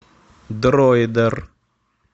дроидер